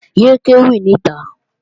Yé é kéwì níta!